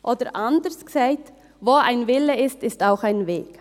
Oder anders gesagt: Wo ein Wille ist, ist auch ein Weg.